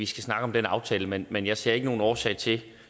snakke om den aftale men men jeg ser ikke nogen årsag til